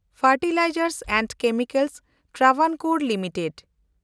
fertilisers and chemicals Travancore limited